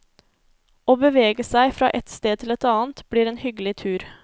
Å bevege seg fra et sted til et annet blir en hyggelig tur.